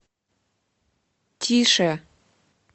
тише